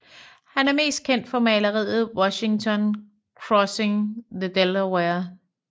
Han er mest kendt for maleriet Washington Crossing the Delaware